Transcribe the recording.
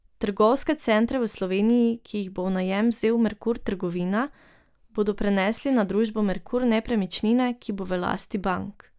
Trgovske centre v Sloveniji, ki jih bo v najem vzel Merkur Trgovina, bodo prenesli na družbo Merkur Nepremičnine, ki bo v lasti bank.